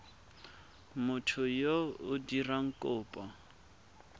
motho yo o dirang kopo